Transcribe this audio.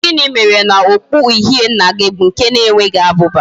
Gini mere na okpu uhie nna gi bu nke na enweghi abuba?